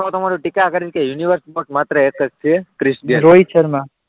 આ વાતમાં તમારે ટીકા કરવી કે યુનિવર્સમાં માત્ર એક જ છે રોહિત શર્મા